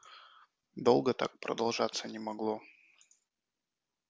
долго так продолжаться не могло